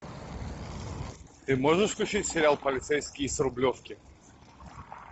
ты можешь включить сериал полицейский с рублевки